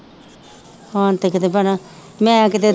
ਹੁਣ ਤੇ ਕਿਤੇ ਭੈਣਾ ਮੈਂ ਕਿਤੇ